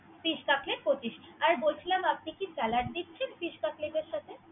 Fish Cutlet পচিশাটা আর বলছিলাম আপনি কা সালাদ দিচ্ছেন Fish Cutlet ।